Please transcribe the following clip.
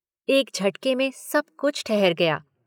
एक झटके में सब कुछ ठहर गया।